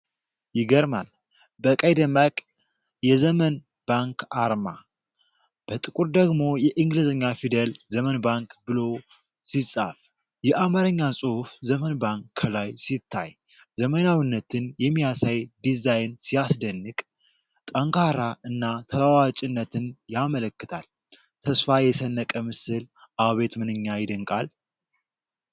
ይገርማል! በቀይ ደማቅ የዘመን ባንክ አርማ! በጥቁር ደግሞ የእንግሊዘኛ ፊደላት Zemen Bank ብሎ ሲጽፍ! የአማርኛ ጽሑፍ "ዘመን ባንክ" ከላይ ሲታይ! ዘመናዊነትን የሚያሳይ ዲዛይን ሲያስደንቅ! ጠንካራ እና ተለዋዋጭነትን ያመለክታል። ተስፋ የሰነቀ ምስል! አቤት ምንኛ ይደንቃል!